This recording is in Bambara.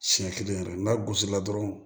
Siɲɛ kelen yɛrɛ n'a gosila dɔrɔn